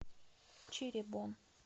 чиребон